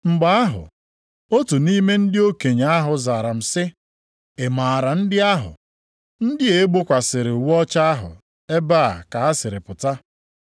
Mgbe ahụ, otu nʼime ndị okenye ahụ zara m sị, “Ị maara ndị ahụ, ndị a e gbokwasịrị uwe ọcha ahụ, ebee ka ha siri pụta?”